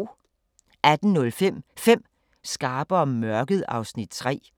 18:05: 5 skarpe om mørket (Afs. 3)